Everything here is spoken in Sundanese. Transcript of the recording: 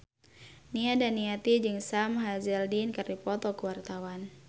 Nia Daniati jeung Sam Hazeldine keur dipoto ku wartawan